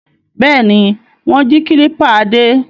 Bẹ́ẹ̀ ni, wọ́n jí kílípà Adé.